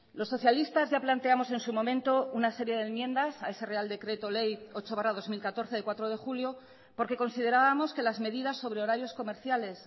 los socialistas ya planteamos en su momento una serie de enmiendas a ese real decreto ley ocho barra dos mil catorce de cuatro de julio porque considerábamos que las medidas sobre horarios comerciales